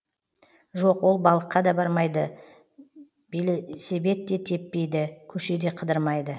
жоқ ол балыққа да бармайды белсебед те теппейді көше де қыдырмайды